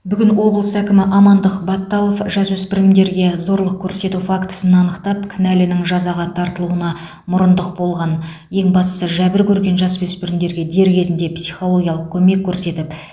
бүгін облыс әкімі амандық баталов жасөспірімдерге зорлық көрсету фактісін анықтап кінәлінің жазаға тартылуына мұрындық болған ең бастысы жәбір көрген жасөспірімге дер кезінде психологиялық көмек көрсетіп